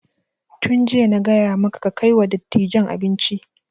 Tun jiya na gaya maka kai kai wa dattijan abinci!